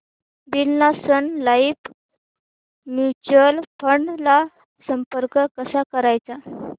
Birla sun life mutual fund ला संपर्क कसा करायचा